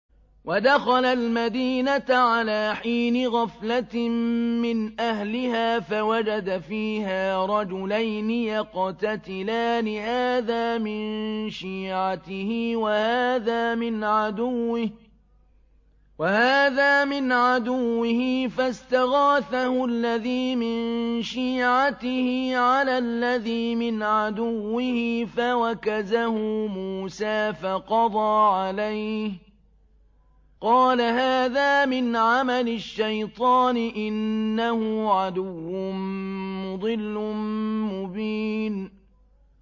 وَدَخَلَ الْمَدِينَةَ عَلَىٰ حِينِ غَفْلَةٍ مِّنْ أَهْلِهَا فَوَجَدَ فِيهَا رَجُلَيْنِ يَقْتَتِلَانِ هَٰذَا مِن شِيعَتِهِ وَهَٰذَا مِنْ عَدُوِّهِ ۖ فَاسْتَغَاثَهُ الَّذِي مِن شِيعَتِهِ عَلَى الَّذِي مِنْ عَدُوِّهِ فَوَكَزَهُ مُوسَىٰ فَقَضَىٰ عَلَيْهِ ۖ قَالَ هَٰذَا مِنْ عَمَلِ الشَّيْطَانِ ۖ إِنَّهُ عَدُوٌّ مُّضِلٌّ مُّبِينٌ